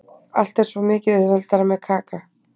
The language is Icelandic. Allt er svo mikið auðveldara með Kaka.